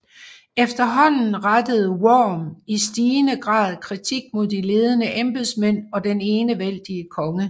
Efterhånden rettede Worm i stigende grad kritik mod de ledende embedsmænd og den enevældige konge